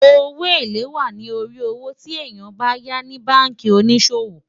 owó élè wà nì orí owó tí èyán bá yá ní bánkì onísòwò